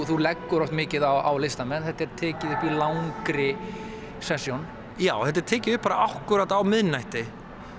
þú leggur oft mikið á listamenn þetta er tekið upp í langri já þetta er tekið upp akkúrat á miðnætti